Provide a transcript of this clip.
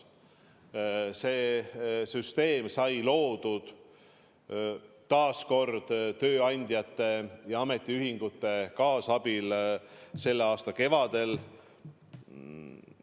See süsteem sai loodud taas kord tööandjate ja ametiühingute kaasabil selle aasta kevadel.